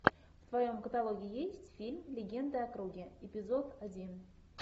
в твоем каталоге есть фильм легенда о круге эпизод один